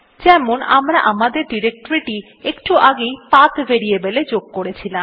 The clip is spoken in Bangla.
যেমন আমরা আমাদের ডিরেক্টরীটি একটু আগেই পাথ ভেরিয়েবল এ যোগ করেছিলাম